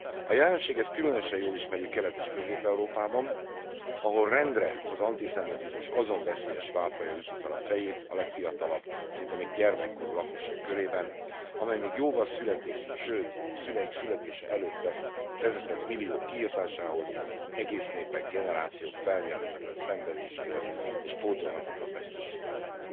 A jelenséget különösen jól ismerjük Kelet és Közép Európában, ahol rendre az antiszemitizmus azon veszélyes válfaja üti fel a fejét, a legfiatalabb, szinte még gyermekkorú lakosság körében, amely még jóval születésük, sőt szüleik születése előtt vezetett milliók kiirtásához, egész népek, generációk felmérhetetlen szenvedéséhez és pótolhatatlan veszteségeihez.